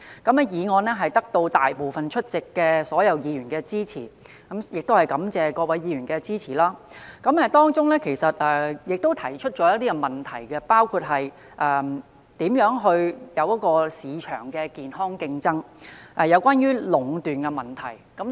這項議案獲得大部分出席議員的支持——我要感謝各位議員的支持——而當中，我其實提出了一些問題，包括如何促進市場健康競爭及有關壟斷的問題。